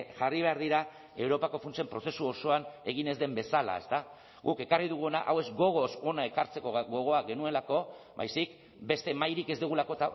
jarri behar dira europako funtsen prozesu osoan egin ez den bezala guk ekarri duguna hau ez gogoz hona ekartzeko gogoa genuelako baizik beste mahairik ez dugulako